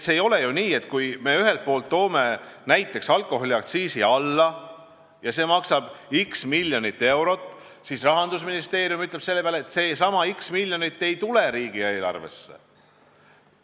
Ei ole ju nii, et kui me ühelt poolt toome näiteks alkoholiaktsiisi alla ja see maksab x miljonit eurot, siis Rahandusministeerium ütleb selle peale lihtsalt, et see x miljonit ei tule riigieelarvesse.